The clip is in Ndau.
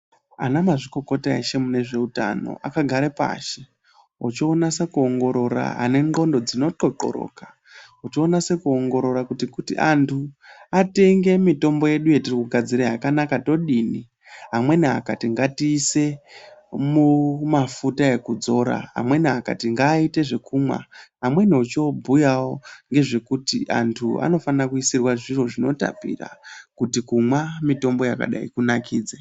Anamazvikokota eshe munezveutano akagare pashi ochonasa kuongorora anendxondo dzino xoxoroka ochonase kuongorora kuti kuti antu atenge mitombo yedu yetiri kugadzira yakanaka ndodini amweni akati ngati ise mumafuta ekudzora amweni akati ngaite zvekumwa amweni ochobhuyawo ngezvekuti antu anofana kuisirwa zviro zvinotapira kuti kumwa mitombo yakadai kunakidze.